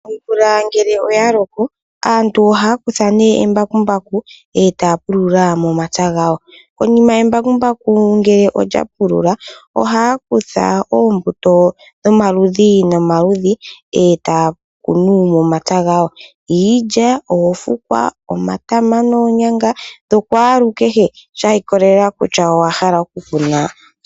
Omvula ngele oya loko aantu ohaya kutha embakumbaku etaya pulula momapya gawo. Konima embakumbaku ngele olya pulula ohaya kutha oombuto dhomaludhi nomaludhi etaya kunu momapya gawo, Iilya, oofukwa, omatama noonyanga dhokwaalukehe shiikolela kutya owa hala okukuna shike.